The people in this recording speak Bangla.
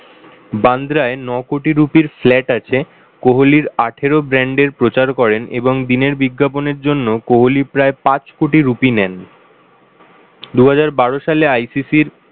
বান্দ্রায় ন-কোটি রুপির flat আছে, কোহলি আঠেরো brand এর প্রচার করেন এবং দিনের বিজ্ঞাপনের জন্য কোহলি প্রায় পাঁচ কোটি রুপি নেন। দুহাজার বারো সালে ICC র